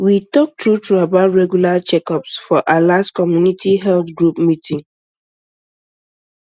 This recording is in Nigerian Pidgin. we talk true true about regular checkups for our last community health group meeting